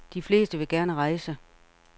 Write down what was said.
De fleste vil gerne rejse.